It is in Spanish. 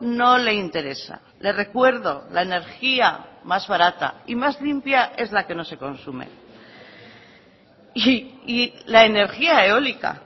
no le interesa le recuerdo la energía más barata y más limpia es la que no se consume y la energía eólica